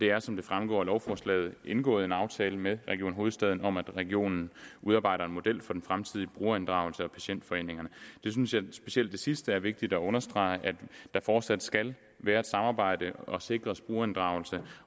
er som det fremgår af lovforslaget indgået en aftale med region hovedstaden om at regionen udarbejder en model for den fremtidige brugerinddragelse af patientforeningerne specielt det sidste er vigtigt at understrege nemlig at der fortsat skal være et samarbejde og sikres brugerinddragelse